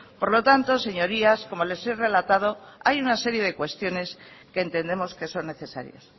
por lo tanto señorías como les he relatado hay una serie de cuestiones que entendemos que son necesarias